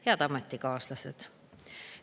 Head ametikaaslased!